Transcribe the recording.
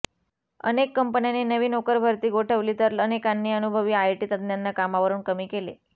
अनेक कंपन्यांनी नवी नोकरभरती गोठवली तर अनेकांनी अनुभवी आयटी तत्ज्ञांना कामावरून कमी केले